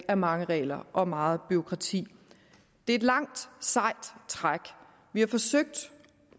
er mange regler og meget bureaukrati det er et langt sejt træk